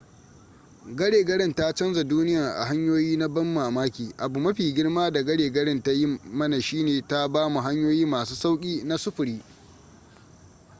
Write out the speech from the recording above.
gare garen ta canza duniyan a hanyoyi na ban mamaki abu mafi girma da gare garen ta yi mana shine ta bamu hanyoyi masu sauki na sufuri